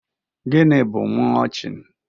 Gịnị bụ mọlchịn?